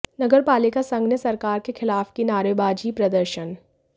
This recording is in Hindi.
नगर पालिका संघ ने सरकार के खिलाफ की नारेबाजी प्रदर्शन